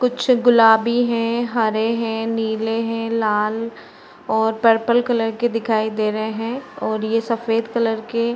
कुछ गुलाबी हैं हरे हैं नीले हैं। लाल और पर्पल कलर के दिखाई दे रहे हैं और यह सफेद कलर के --